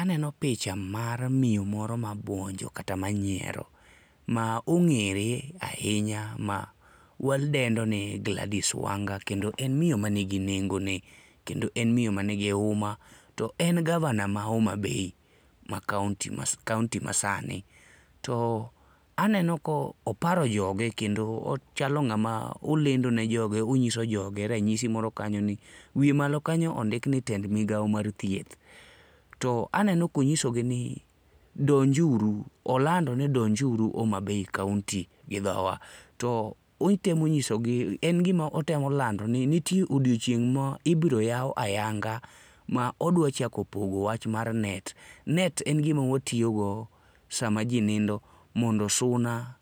Aneno picha mar miyo moro mabuonjo kata manyiero ma ong'ere ahinya ma wadendo ni Gladys Wanga, kendo en miyo manigi nengo ne, kendo en miyo mani gi huma to en gavana ma Homa Bay ma kaont ma kaonti masani. To aneno ka oparo joge kendo ochalo ng'ama lendo ne joge onyiso joge ranyisi moro kanyo ni wiye malo kanyo ondk ni tend migawo mar thieth. To aneno ka onyisogi ni donj uru, oland ni donjuru Homa Bay kaonti gi dhowa. To otemo nyisogi en gima otemo lando ni nitie odiechieng' ma ibiro yaw ayanga ma odwa chako pogo wach mar net. Net en gima watiyo go sama ji nindo mondo suna